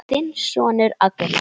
Þinn sonur Agnar.